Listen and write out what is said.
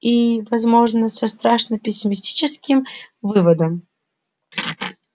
и возможно со страшно пессимистическим выводом